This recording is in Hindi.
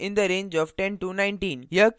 यह case 2 है